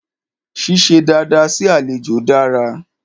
Ṣíṣe dada sí àlejò dára.